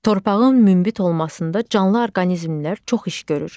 Torpağın münbit olmasında canlı orqanizmlər çox iş görür.